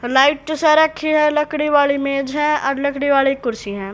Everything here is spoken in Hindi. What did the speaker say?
लाइट तो सारा लकड़ी वाली मेज है और लकड़ी वाली कुर्सी है।